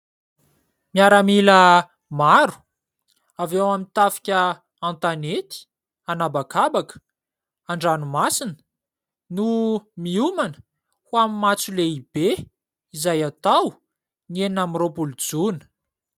Miaramila maro avy ao amin'ny tafika an-tanety, anabakabaka, an-dranomasina no miomana ho amin'ny matso lehibe izay atao ny enina amby roapolo Jona.